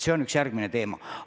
See on üks järgmistest teemadest.